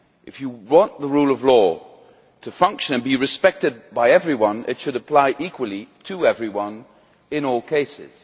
If you want the rule of law to function and be respected by everyone, it should apply equally to everyone in all cases.